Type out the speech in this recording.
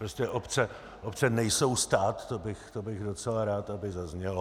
Prostě obce nejsou stát, to bych docela rád, aby zaznělo.